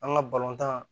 An ka balontan